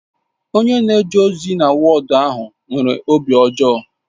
Onye na-eje ozi na wọọdu ahụ nwere obi ọjọọ